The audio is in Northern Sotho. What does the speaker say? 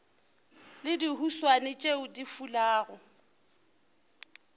le dihuswane tšeo di fulago